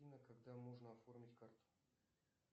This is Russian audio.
афина когда можно оформить карту